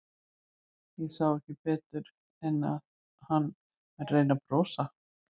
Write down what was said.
Ég sá ekki betur en að hann væri að reyna að brosa.